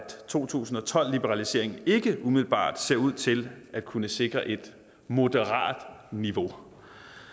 to tusind og tolv liberaliseringen ikke umiddelbart ser ud til at kunne sikre et moderat niveau